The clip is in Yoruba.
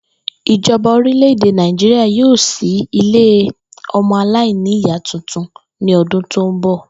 Ìjo̩ba orílè̩-èdè Nàìjíríà yóò s̩í ilé o̩mo̩-aláìníyàá tuntun ní o̩dún tó ń bò̩